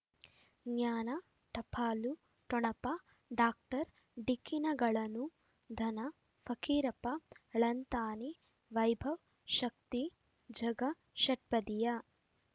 ಜ್ಞಾನ ಟಪಾಲು ಠೊಣಪ ಡಾಕ್ಟರ್ ಢಿಕ್ಕಿ ಣಗಳನು ಧನ ಫಕೀರಪ್ಪ ಳಂತಾನೆ ವೈಭವ್ ಶಕ್ತಿ ಝಗಾ ಷಟ್ಪದಿಯ